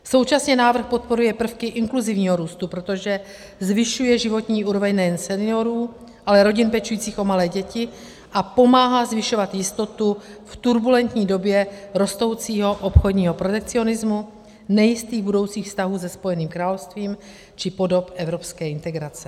Současně návrh podporuje prvky inkluzivního růstu, protože zvyšuje životní úroveň nejen seniorů, ale rodin pečujících o malé děti a pomáhá zvyšovat jistotu v turbulentní době rostoucího obchodního protekcionismu, nejistých budoucích vztahů se Spojeným královstvím či podob evropské integrace.